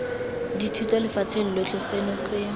dithuto lefatsheng lotlhe seno se